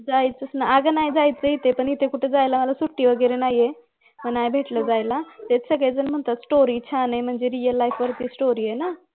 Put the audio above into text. जायचस ना अगं नाही जायचं इथे पण इथे कुठे जायला सुट्टी वगैरे नाही ना मग नाही भेटलं जायला तेच सगळे जन म्हणतायत story चं आहे म्हणजे real life वरती story आहे ना